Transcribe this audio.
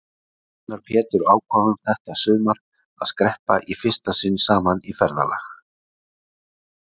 Við Einar Pétur ákváðum þetta sumar að skreppa í fyrsta sinn saman í ferðalag.